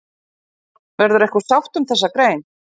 Verður einhver sátt um þessa grein?